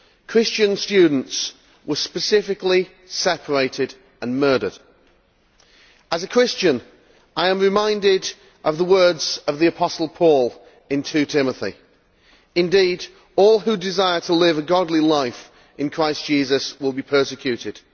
Christian students were specifically separated and murdered. As a Christian I am reminded of the words of the Apostle Paul in 2 Timothy Indeed all who desire to live a godly life in Christ Jesus will be persecuted'.